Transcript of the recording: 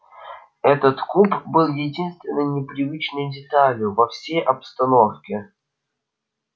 этот куб был единственной непривычной деталью во всей обстановке